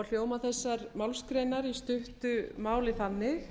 og hljóða þessar málsgreinar í stuttu máli þannig